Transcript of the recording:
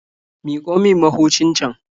Miƙo min mahucin can.